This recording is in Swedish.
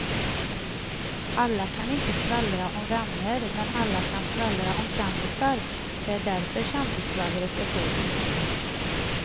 Alla kan inte skvallra om vänner men alla kan skvallra om kändisar, det är därför kändisskvallret är så utbrett.